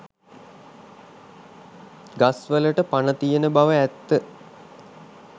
ගස් වලට පණ තියෙන බව ඇත්ත